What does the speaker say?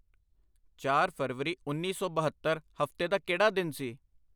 ਚਾਰ ਫਰਵਰੀ ਉੱਨੀ ਸੌ ਬਹੱਤਰ ਹਫ਼ਤੇ ਦਾ ਕਿਹੜਾ ਦਿਨ ਸੀ?